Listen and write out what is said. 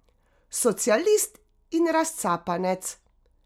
Socialist in razcapanec.